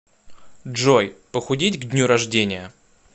джой похудеть к дню рождения